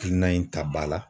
kilina in ta ba la